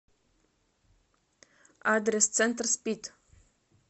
адрес центр спид